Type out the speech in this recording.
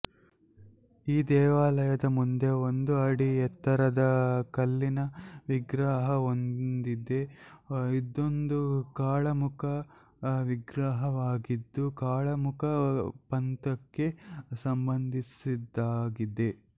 ಈ ದೇವಾಲಯದ ಮುಂದೆ ಒಂದು ಅಡಿ ಎತ್ತರದ ಕಲ್ಲಿನ ವಿಗ್ರಹವೊಂದಿದೆ ಇದೊಂದು ಕಾಳಾಮುಖ ವಿಗ್ರಹವಾಗಿದ್ದು ಕಾಳಾಮುಖ ಪಂಥಕ್ಕೆ ಸಂಬಂಧಿಸಿದ್ದಾಗಿದೆ